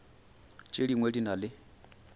tše dingwe di na le